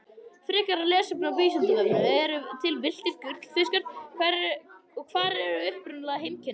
Frekara lesefni á Vísindavefnum Eru til villtir gullfiskar og hver eru upprunaleg heimkynni þeirra?